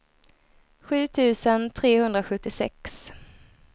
sju tusen trehundrasjuttiosex